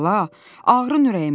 Bala, ağrın ürəyimə.